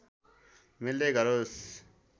मिल्दै गरोस्